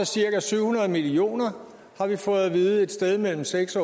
cirka syv hundrede million kr har vi fået at vide altså et sted mellem seks